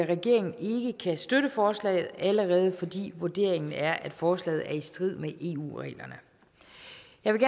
regeringen ikke kan støtte forslaget allerede fordi vurderingen er at forslaget er i strid med og jeg vil